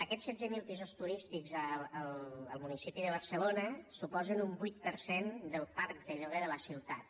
aquests setze mil pisos turístics al municipi de barcelona suposen un vuit per cent del parc de lloguer de la ciutat